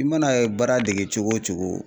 I mana baara dege cogo o cogo